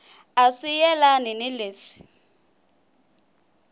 a swi yelani ni leswi